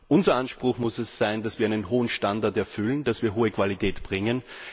Unser Anspruch muss es sein, dass wir einen hohen Standard erfüllen, dass wir hohe Qualität bringen.